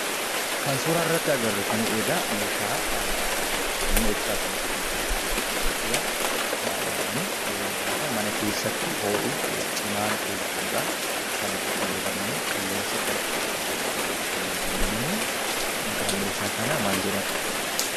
Kan suuraa irratti arginu kun meeshaa humna ibsaa ittiin hojjetan keessaa isa tokkoo dha. Baay'inaan gaafa ho'i cimaan mana keessatti uumamu kan itti fayyadamu qilleensa qorrisiisuuf kan itti fayyadamnuu dha. Maqaan meeshaa kanaa maal jedhama?